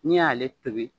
N'i y'ale tobi